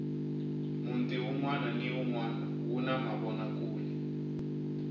munti unwana hi unwana wu na mavinakule